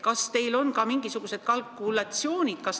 Kas teil on tehtud mingisugused sellekohased kalkulatsioonid?